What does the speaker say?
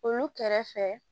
Olu kɛrɛfɛ